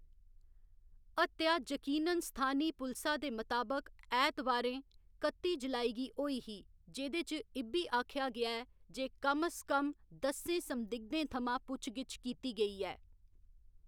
हत्या यकीनन स्थानी पुलसा दे मताबक ऐतवारें, कत्ती जुलाई गी होई ही, जेह्‌दे च इ'ब्बी आखेआ गेआ ऐ जे कम स कम दस्सें संदिग्धें थमां पुच्छ गिच्छ कीती गेई ऐ।